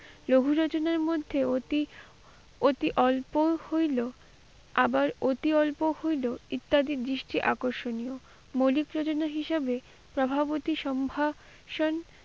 রঘুরচনে মধ্যে অতি অতি অল্প হইলো আবার অতি অল্প হইলো ইত্যাদি দৃষ্টি আকর্ষণীয়।